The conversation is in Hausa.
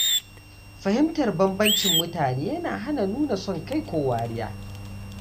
Fahimtar bambancin mutane yana hana nuna son kai ko wariya.